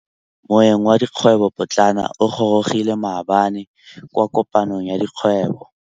Moêng wa dikgwêbô pôtlana o gorogile maabane kwa kopanong ya dikgwêbô.